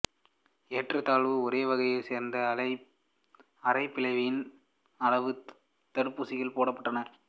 ஏறத்தாழ ஒரே வகையைச் சேர்ந்த அரை பில்லியன் அளவு தடுப்பூசிகள் போடப்பட்டுள்ளன